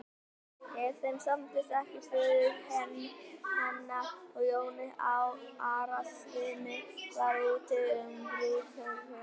Ef þeim samdist ekki föður hennar og Jóni Arasyni var úti um brúðkaupið.